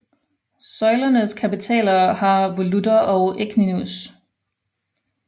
Søjlernes kapitæler har volutter og echinus